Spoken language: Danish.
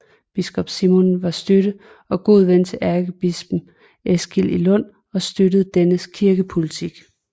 Biskop Simon var støtte og god ven til ærkebispen Eskil i Lund og støttede dennes kirkepolitik